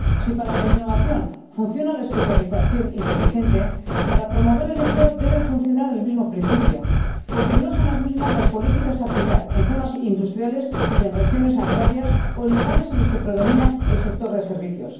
Si para la innovación, funciona la especialización inteligente, para promover el empleo debe funcionar el mismo principio, porque no deben aplicarse las mismas las políticas en zonas industriales que en regiones agrarias o en lugares en los que predomina el sector de servicios.